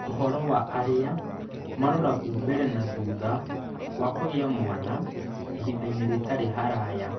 Ũhoro wa arĩa maroragwo mbele na thutha wa kũgĩa mwana ihinda inĩ rĩtarĩ haraya